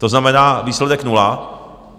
To znamená, výsledek nula.